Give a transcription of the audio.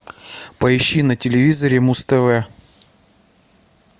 поищи на телевизоре муз тв